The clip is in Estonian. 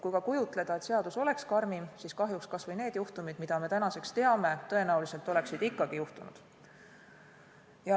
Kui ka kujutleda, et seadus oleks karmim, siis kahjuks kas või need juhtumid, mida me tänaseks teame, oleksid tõenäoliselt ikkagi juhtunud.